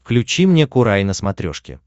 включи мне курай на смотрешке